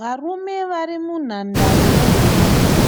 Varume vari munhandare yenhabvu.